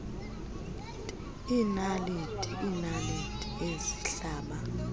iinaliti iinaliti ezihlaba